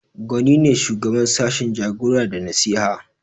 Gwani ne shugaban sashin Jagora da nasiha